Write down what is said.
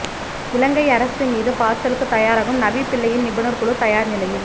இலங்கை அரசு மீது பாச்சலுக்குத் தயாராகும் நவிப்பிள்ளையின் நிபுணர் குழு தயார் நிலையில்